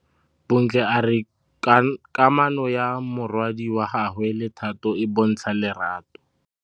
Bontle a re kamanô ya morwadi wa gagwe le Thato e bontsha lerato.